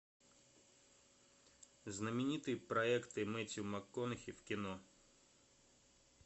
знаменитые проекты мэттью макконахи в кино